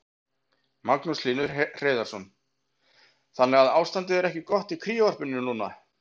Magnús Hlynur Hreiðarsson: Þannig að ástandið er ekki gott í kríuvarpinu núna?